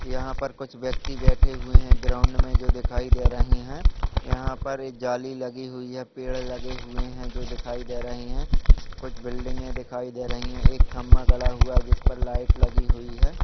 यहां पे कुछ व्यक्ति बैठे हुए है ग्राउन्ड मे जो दिखाई दे रहे है यहां पर ये जाली लगी हुई है पेड़ लगे हुए हैं जो दिखाई दे रहे है कुछ बिल्डिंगे दिखाई दे रहे है एक खंभा गड़ा हुआ जिस पे लाइट लगी हुई है।